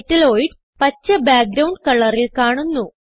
metalloids പച്ച background കളറിൽ കാണുന്നു